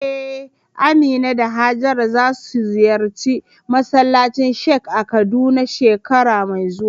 Eh, Amina da Hajara za su ziyarci masallacin Sikh a Kaduna shekara mai zuwa.